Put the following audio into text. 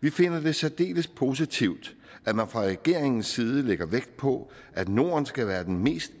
vi finder det særdeles positivt at man fra regeringens side lægger vægt på at norden skal være den mest